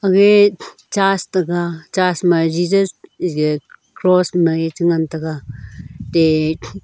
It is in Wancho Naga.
agge churs ta ga churs ma jesus iga cross mai ee chi ngan taga atte.